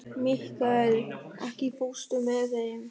Mikkael, ekki fórstu með þeim?